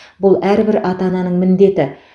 бұл әрбір ата ананың міндеті